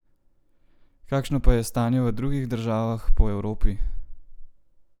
Kakšno pa je stanje v drugih državah po Evropi?